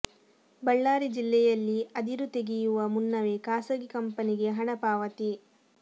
ಬಳ್ಳಾರಿ ಜಿಲ್ಲೆಯಲ್ಲಿ ಅದಿರು ತಗೆಯುವ ಮುನ್ನವೇ ಖಾಸಗಿ ಕಂಪನಿಗೆ ಹಣ ಪಾವತಿ